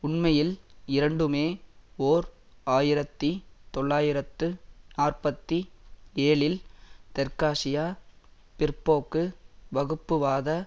உண்மையில் இரண்டுமே ஓர் ஆயிரத்தி தொள்ளாயிரத்து நாற்பத்தி ஏழில் தெற்காசியா பிற்போக்கு வகுப்புவாத